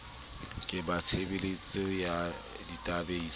ke ba tshebeletso ya databeise